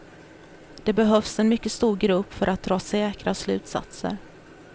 Det behövs en mycket stor grupp för att dra säkra slutsatser.